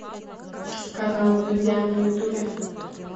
канал вдудя на ютубе